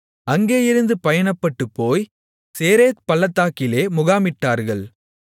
அங்கேயிருந்து பயணப்பட்டுப் போய் சேரேத் பள்ளத்தாக்கிலே முகாமிட்டார்கள்